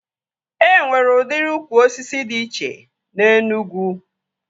E nwere udiri ukwu osisi dị iche na Enugwu